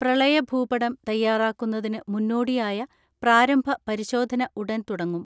പ്രളയ ഭൂപടം തയ്യാറാക്കുന്നതിന് മുന്നോടിയായ പ്രാരംഭ പരിശോധന ഉടൻ തുടങ്ങും.